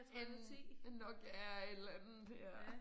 En en Nokia et eller andet ja